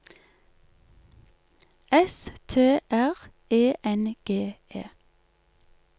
S T R E N G E